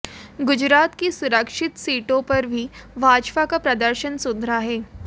गुजरात की सुरक्षित सीटों पर भी भाजपा का प्रदर्शन सुधरा है